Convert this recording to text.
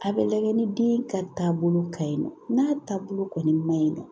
A bɛ lajɛ ni den ka taabolo ka ɲi nɔ n'a taabolo kɔni maɲi nɔ